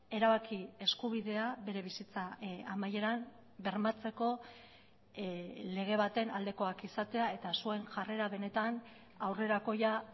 erabaki eskubidea bere bizitza amaieran bermatzeko lege baten aldekoak izatea eta zuen jarrera benetan aurrerakoia